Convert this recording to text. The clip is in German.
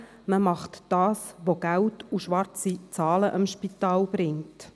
Diese tun das, was ihnen Geld und schwarze Zahlen bringt.